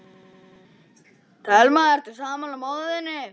Telma: Ertu sammála móður þinni?